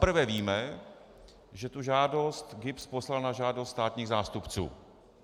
Zaprvé víme, že tu žádost GIBS poslal na žádost státních zástupců.